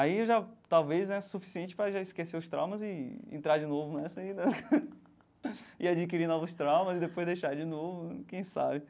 aí já talvez né suficiente para já esquecer os traumas e entrar de novo nessa aí né e adquirir novos traumas e depois deixar de novo, quem sabe.